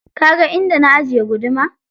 Kaga inda na ajiye guduma?